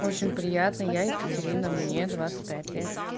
очень приятная я екатерина мне двадцать пять лет